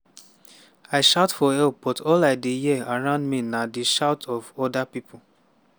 i shout for help but all i dey hear around me na di shout of oda pipo."